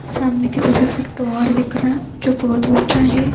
سامنے کی طرف ایک ٹاور دیکھ رہا ہے۔ جو بھوت اچھا ہے۔